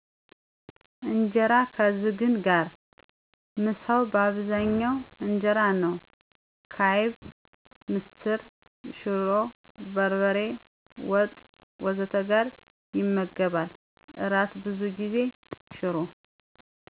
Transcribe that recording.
ኢንጀራ ከዝግን ጋር: ምሳው በአብዛኛው ኢንጀራ ነው፣ ከአይብ፣ ምስር፣ ሽሮ፣ በርበሬ ወጥ፣ ወጥ ወዘተ ጋር ይመገባል። እራት ብዙ ጊዜ ሽሮ